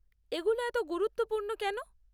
এগুলো এত গুরুত্বপূর্ণ কেন?